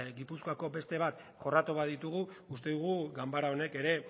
gipuzkoako beste bat jorratu baditugu uste dugu ganbara honek ere